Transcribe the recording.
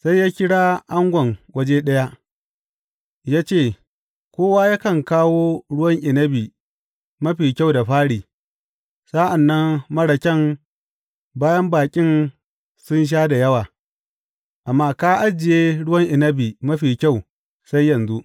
Sai ya kira angon waje ɗaya ya ce, Kowa yakan kawo ruwan inabi mafi kyau da fari, sa’an nan marar kyan bayan baƙin sun sha da yawa; amma ka ajiye ruwan inabi mafi kyau sai yanzu.